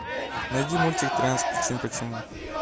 найди мультик тринадцать причин почему